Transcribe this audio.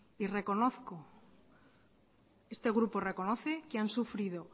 y reconozco este grupo reconoce que han sufrido